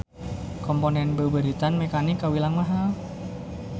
Komponen beubeuritan mekanik kawilang mahal.